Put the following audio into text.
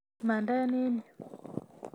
Mande eng yu!